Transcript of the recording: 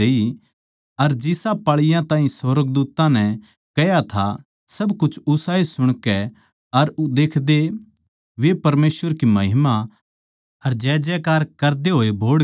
अर जिसा पाळीयाँ ताहीं सुर्गदूत्तां नै कह्या था सब कुछ उसाए सुणकै अर देखकै परमेसवर की महिमा अर जयजयकार करदे होए बोहड़गे